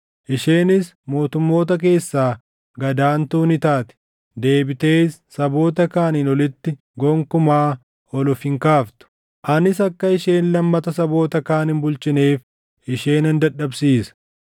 Isheenis mootummoota keessaa gad aantuu ni taati; deebitees saboota kaaniin olitti gonkumaa ol of hin kaaftu. Anis akka isheen lammata saboota kaan hin bulchineef ishee nan dadhabsiisa.